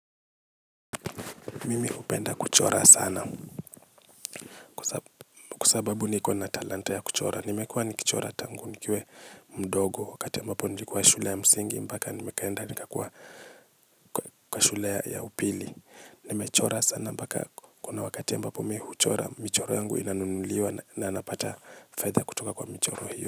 Mimi hupenda kuchora sana. Kwa sababu niko na talanta ya kuchora. Nimekuwa ni kichora tangu, nikiwe mdogo. Wakati ambapo nilikuwa shule ya msingi, mbaka nimekaenda ni kakua kwa shule ya upili. Nimechora sana mbaka kuna wakati ambapo mi huchora, michoro yangu inanunuliwa na napata fedha kutoka kwa michoro hiyo.